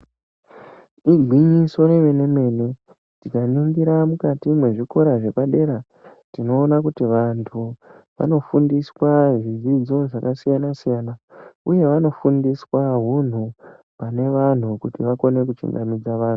Igwinyiso remene-mene tikaringira mukati mezvikora zvepadera tinoona kuti vantu vanofundiswa zvidzidzo zvakasiyana-siyana, uye vanofundiswa hunhu panevantu kuti vakone kuchingamidza vantu.